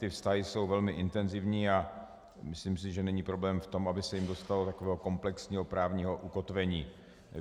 Ty vztahy jsou velmi intenzivní a myslím si, že není problém v tom, aby se jim dostalo takového komplexního právního ukotvení.